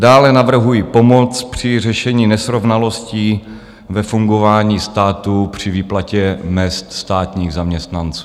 Dále navrhuji pomoc při řešení nesrovnalostí ve fungování státu při výplatě mezd státních zaměstnanců.